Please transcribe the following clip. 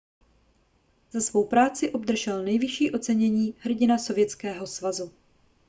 za svou práci obdržel nejvyšší ocenění hrdina sovětského svazu